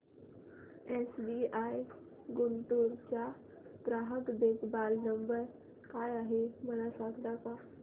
SBI Guntur चा ग्राहक देखभाल नंबर काय आहे मला सांगता का